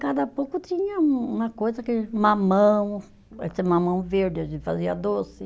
Cada pouco tinha um uma coisa que, mamão, esse mamão verde a gente fazia doce.